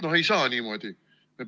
No ei saa niimoodi.